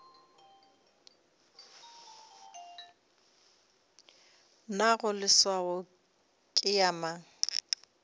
nago leswao ke ya mang